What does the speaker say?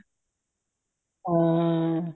ਹਾਂ